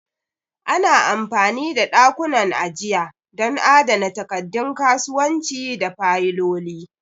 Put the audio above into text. Ana amfani da ɗakunan ajiya don adana takaddun kasuwanci da fayiloli.